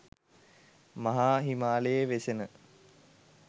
මහා හිමාලයේ වෙසෙන